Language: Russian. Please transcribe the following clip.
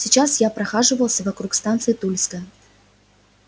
сейчас я прохаживался вокруг станции тульская